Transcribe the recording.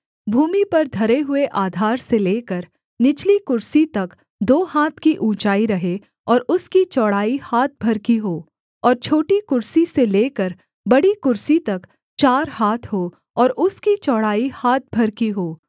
भूमि पर धरे हुए आधार से लेकर निचली कुर्सी तक दो हाथ की ऊँचाई रहे और उसकी चौड़ाई हाथ भर की हो और छोटी कुर्सी से लेकर बड़ी कुर्सी तक चार हाथ हों और उसकी चौड़ाई हाथ भर की हो